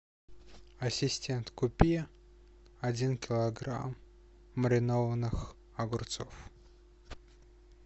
ассистент купи один килограмм маринованных огурцов